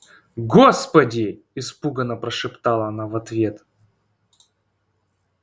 господи испуганно прошептала она в ответ